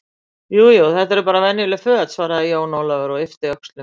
Jú, jú, þetta eru bara venjuleg föt, svaraði Jón Ólafur og yppti öxlum.